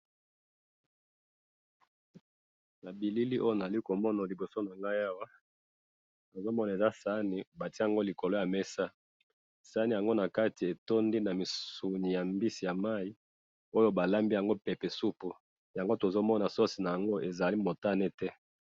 Elili oyo nazali komona liboso nangayi awa, nazomona eza saani batye yango likolo yamesa, saani yango nakati etondi namisuni yambisi ya mayi, oyo balambi yango pepe supu, yango tozomona sauce naango ezali motake te